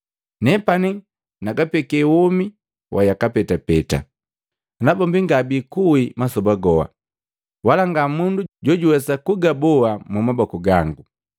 Nepani nagapeke womi wa yaka petapeta, nabombi ngabikuwi masoba goha. Wala nga mundu jojuwesa kwagaboa mumaboku gangu.